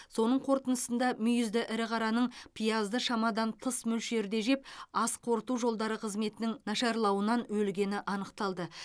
соның қорытындысында мүйізді ірі қараның пиязды шамадан тыс мөлшерде жеп ас қорыту жолдары қызметінің нашарлауынан өлгені анықталды